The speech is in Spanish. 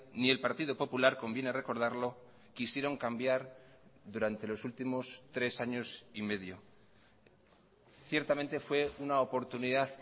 ni el partido popular conviene recordarlo quisieron cambiar durante los últimos tres años y medio ciertamente fue una oportunidad